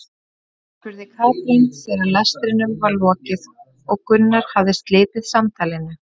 spurði Kolbrún þegar lestrinum var lokið og Gunnar hafði slitið samtalinu.